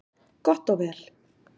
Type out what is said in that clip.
Gott og vel,